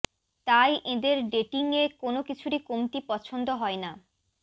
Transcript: তাই এঁদের ডেটিং এ কোনও কিছুরই কমতি পছন্দ হয় না